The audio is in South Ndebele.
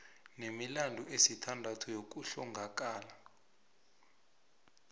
nemilandu esithandathu yokuhlongakala